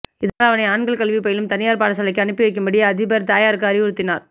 இதனால் அவனை ஆண்கள் கல்வி பயிலும் தனியார் பாடசாலைக்கு அனுப்பி வைக்கும்படி அதிபர் தாயாருக்கு அறிவுறுத்தினார்